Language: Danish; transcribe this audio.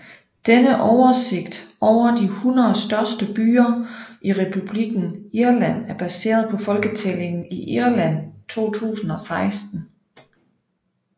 Denne oversigt over de 100 største byer i Republikken Irland er baseret på Folketællingen i Irland 2016